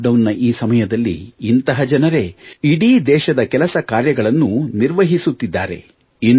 ಲಾಕ್ಡೌನ್ನ ಈ ಸಮಯದಲ್ಲಿ ಇಂತಹ ಜನರೇ ಇಡೀ ದೇಶದ ಕೆಲಸ ಕಾರ್ಯಗಳನ್ನು ನಿರ್ವಹಿಸುತ್ತಿದ್ದಾರೆ